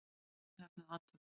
Afar vel heppnuð athöfn.